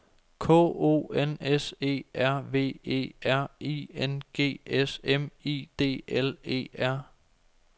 K O N S E R V E R I N G S M I D L E R